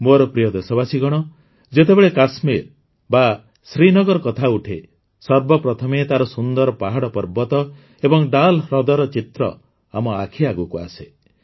ମୋର ପ୍ରିୟ ଦେଶବାସୀଗଣ ଯେତେବେଳେ କାଶ୍ମୀର ବା ଶ୍ରୀନଗର କଥା ଉଠେ ସର୍ବପ୍ରଥମେ ତାର ସୁନ୍ଦର ପାହାଡ଼ ପର୍ବତ ଓ ଡାଲ ହ୍ରଦର ଚିତ୍ର ଆମ ଆଖି ଆଗକୁ ଆସେ